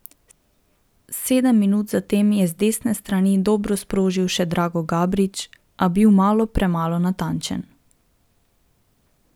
Sedem minut zatem je z desne strani dobro sprožil še Drago Gabrić, a bil malo premalo natančen.